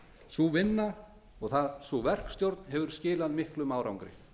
sú vinna og sú verkstjórn hefur skilað miklum árangri